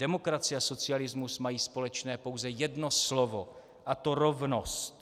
Demokracie a socialismus mají společné pouze jedno slovo, a to rovnost.